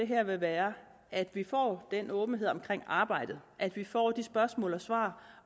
her vil være at vi får den åbenhed omkring arbejdet at vi får de spørgsmål og svar